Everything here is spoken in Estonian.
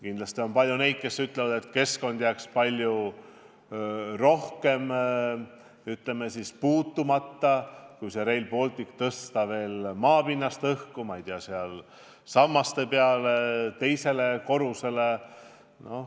Kindlasti on palju neid, kes ütlevad, et keskkond jääks palju rohkem puutumata, kui tõsta Rail Baltic maapinnast õhku, ma ei tea, sammaste peale, teisele korrusele.